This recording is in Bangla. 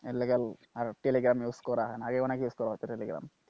এর লগে আর টেলিগ্রাম use করা হয় না। আগে অনেক use করা হত টেলিগ্রাম,